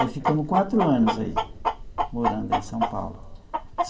Aí ficamos quatro anos aí morando em São Paulo.